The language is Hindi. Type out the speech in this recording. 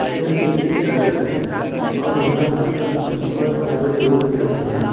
यह एक चर्च है और यहां पर बहोत सारे लोग खड़े हैं।